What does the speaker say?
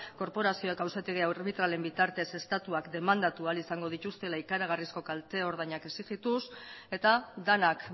korporazioak auzitegi arbitralen bitartez estatuak demandatu ahal izango dituztela ikaragarrizko kalte ordainak exigituz eta denak